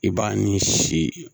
I b'a ni si